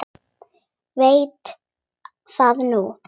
Veit það núna.